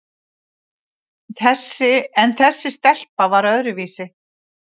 En þessi stelpa var öðruvísi.